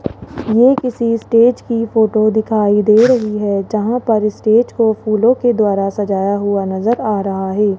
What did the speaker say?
ये किसी स्टेज की फोटो दिखाई दे रही है जहां पर स्टेज को फूलों के द्वारा सजाया हुआ नजर आ रहा है।